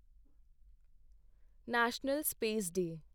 national space day